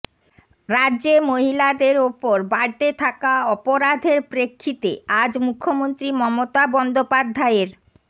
রাজ্যে মহিলাদের ওপর বাড়তে থাকা অপরাধের প্রেক্ষিতে আজ মুখ্যমন্ত্রী মমতা বন্দ্যোপাধ্যায়ের